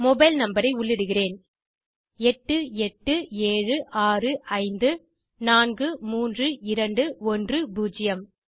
mobile number ஐ உள்ளிடுகிறேன் - 8876543210